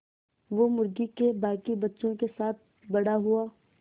वो मुर्गी के बांकी बच्चों के साथ बड़ा हुआ